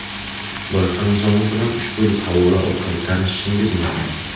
Loyiha nizomi bilan ushbu havola orqali tanishishingiz mumkin.